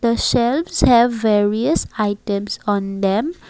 the shelves have various items on them.